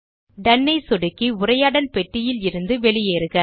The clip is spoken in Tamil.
டோன் ஐ சொடுக்கி உரையாடல் பெட்டியிலிருந்து வெளியேறுக